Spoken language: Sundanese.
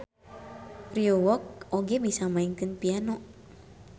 Ryeowook oge bisa maenkeun piano.